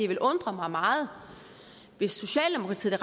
ville undre mig meget hvis socialdemokratiet og